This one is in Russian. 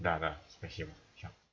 да да спасибо всё